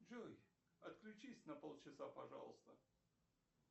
джой отключись на пол часа пожалуйста